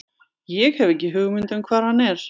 Ég hef ekki hugmynd um hvar hann er.